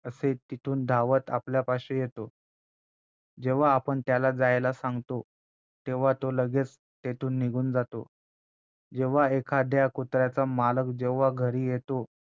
असेल तिथून धावत आपल्यापाशी येतो जेव्हा आपण त्याला जायला सांगतो तेव्हा तो लगेच तेथून निघून जातो जेव्हा एखाद्या कुत्र्याचा मालक जेव्हा घरी येतो